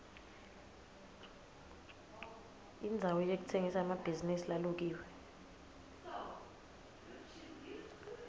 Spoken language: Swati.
indzawo yekutsengisa emacansi lalukiwe